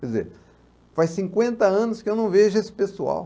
Quer dizer, faz cinquenta anos que eu não vejo esse pessoal.